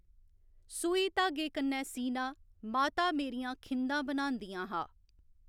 सुई धागे कन्नै सीना माता मेरियां खिंदा बनांदियां हा